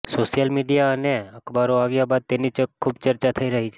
social media અને અખબારો આવ્યા બાદ તેની ખૂબ ચર્ચા થઈ રહી છે